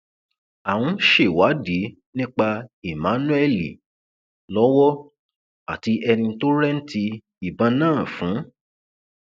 à ń ṣèwádìí nípa emmanuel lọwọ àti ẹni tó rẹǹtì ìbọn náà fún